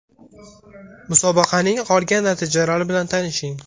Musobaqaning qolgan natijalari bilan tanishing: !